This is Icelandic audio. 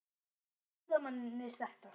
Hvernig upplifa ferðamennirnir þetta?